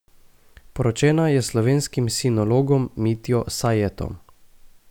Poročena je s slovenskim sinologom Mitjo Sajetom.